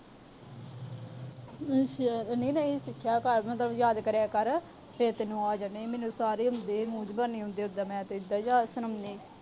ਅੱਛਾ। ਨਹੀਂ ਫਿਰ ਸਿੱਖਿਆ ਕਰ। ਯਾਦ ਕਰਿਆ ਕਰ। ਫਿਰ ਤੈਨੂੰ ਆ ਜਾਣੇ ਆ। ਮੈਨੂੰ ਸਾਰੇ ਆਉਂਦੇ। ਮੂੰਹ ਜੁਬਾਨੀ ਆਉਂਦੇ। ਉਦਾਂ ਮੈਂ ਤੇ ਯਾਦ